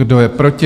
Kdo je proti?